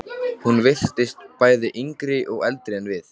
Hún virtist bæði yngri og eldri en við.